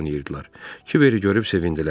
Kiberi görüb sevindilər.